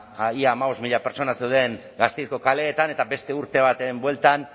ba ia hamabost mila pertsona zeuden gasteizko kaleetan eta beste urte baten bueltan